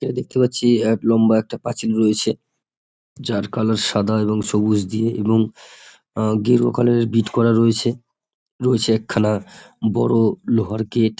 এটা দেখতে পাচ্ছি এক লম্বা একটা পাঁচিল রয়েছে। যার কালার সাদা এবং সবুজ দিয়ে এবং আহ গেরুয়া কালার -এর বিট করা রয়েছে রয়েছে একখানা বড় লোহার গেট ।